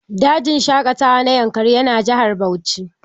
Dajin shaƙatawa na yankari yana jihar Bauchi